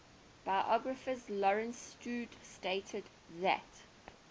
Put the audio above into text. biographer lawrence sutin stated that